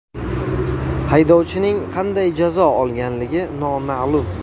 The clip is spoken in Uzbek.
Haydovchining qanday jazo olganligi noma’lum.